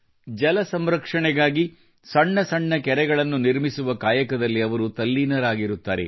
ಜಲ ಸಂರಕ್ಷಣೆಗಾಗಿ ಸಣ್ಣ ಸಣ್ಣ ಕೆರೆಗಳನ್ನು ನಿರ್ಮಿಸುವ ಕಾಯಕದಲ್ಲಿ ಅವರು ತಲ್ಲೀನರಾಗಿರುತ್ತಾರೆ